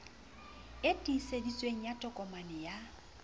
e tiiseditsweng ya tokomane ya